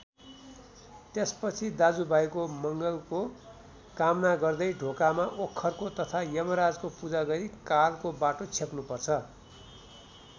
त्यसपछि दाजुभाइको मङ्गलको कामना गर्दै ढोकामा ओखरको तथा यमराजको पूजा गरी कालको बाटो छेक्नुपर्छ।